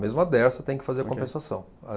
Mesmo a Dersa tem que fazer a compensação. A